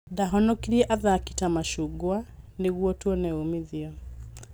Ndahonokirie athaki ta macungwa nĩguo tuone umithio.